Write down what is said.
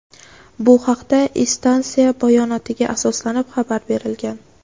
Bu haqda instansiya bayonotiga asoslanib xabar berilgan.